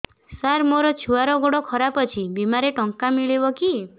ସାର ମୋର ଛୁଆର ଗୋଡ ଖରାପ ଅଛି ବିମାରେ ଟଙ୍କା ମିଳିବ କି